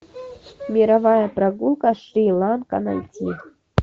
мировая прогулка шри ланка найти